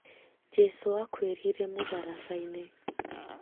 Jesũ akuĩrĩĩre mũtharabainĩ